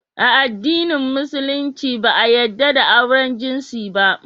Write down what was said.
A addinin musulunci yadda da auren jinsi ba